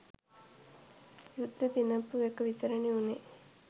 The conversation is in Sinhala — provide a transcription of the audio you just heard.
යුද්දෙ දිනපු එක විතරනෙ වුනේ.